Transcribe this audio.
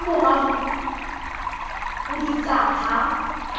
ka mora ho pudutsa ha